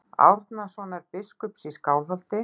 Árnasonar biskups í Skálholti.